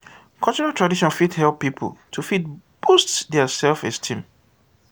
cultural tradition fit help pipo to fit boost their self esteem